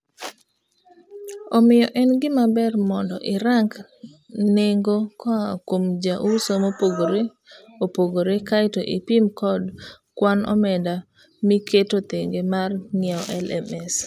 Omiyo en gima ber moondo irang nengo koa kuom jouso mopogre opogrfe kaeto ipim kod kwan omenda miketo thenge mar ng'iewo LMS.